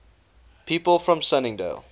people from sunningdale